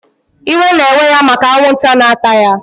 Iwe na eweya maka anwụnta na ata ya